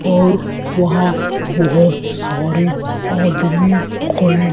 और वहां बहोत सारे आदमी खड़े--